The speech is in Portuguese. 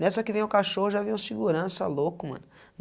Nessa que vem o cachorro já vem uma segurança, louco, mano.